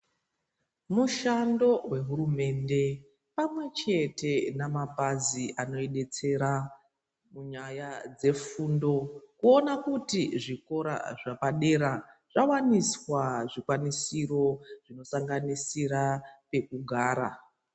Mushando wehurumende pamwechete memabazi anodetsera nyaya dzefundo kuona kuti zvikora zvepadera zvawaniswa zvikwanisiro zvinosanganisira kuona pekugara